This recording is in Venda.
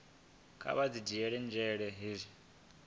kha vha dzhiele nzhele hezwi